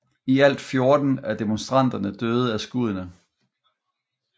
I alt 14 af demonstranterne døde af skuddene